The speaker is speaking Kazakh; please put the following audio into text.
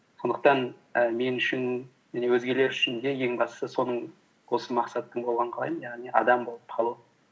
сондықтан і мен үшін және өзгелер үшін де ең бастысы осы мақсаттың болғанын қалаймын яғни адам болып қалу